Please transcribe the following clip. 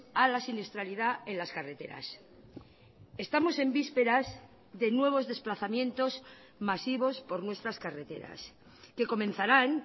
a la siniestralidad en las carreteras estamos en vísperas de nuevos desplazamientos masivos por nuestras carreteras que comenzaran